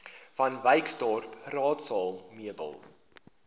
vanwyksdorp raadsaal meubels